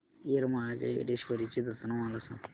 येरमाळ्याच्या येडेश्वरीची जत्रा मला सांग